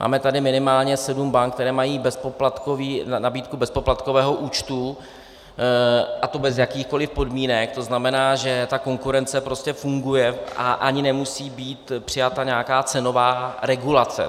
Máme tady minimálně sedm bank, které mají nabídku bezpoplatkového účtu, a to bez jakýchkoli podmínek, to znamená, že ta konkurence prostě funguje a ani nemusí být přijata nějaká cenová regulace.